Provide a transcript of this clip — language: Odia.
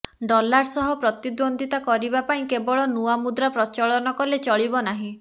ଡଲାର ସହ ପ୍ରତିଦ୍ୱନ୍ଦ୍ୱିତା କରିବା ପାଇଁ କେବଳ ନୂଆ ମୁଦ୍ରା ପ୍ରଚଳନ କଲେ ଚଳିବ ନାହିଁ